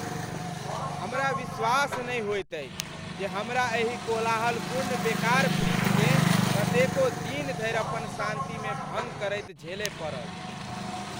हमरा विश्वास नहि होइत अछि जे हमरा एहि कोलाहलपूर्ण बेकार फ्रिजकेँ कतेको दिन धरि अपन शान्तिमे भङ्ग करैत झेलय पड़ल।